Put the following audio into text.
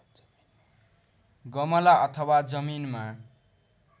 गमला अथवा जमिनमा